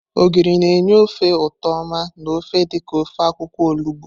Ogiri na-enye ofe ụtọ oma na ofe dị ka ofe akwukwo olugbo.